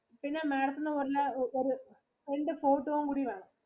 പിന്നെ Madam ത്തിനു വന്ന ഒരു രണ്ടു photo യും കൂടി വേണം